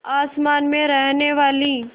आसमान में रहने वाली